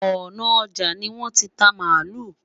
òná ọja ni won tí ta malu